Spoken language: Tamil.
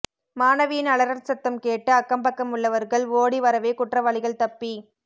மாணவியின் அலறல் சத்தம் கேட்டு அக்கம் பக்கம் உள்ளவர்கள் ஓடி வரவே குற்றவாளிகள் தப்பி